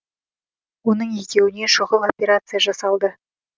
оның екеуіне шұғыл операция жасалды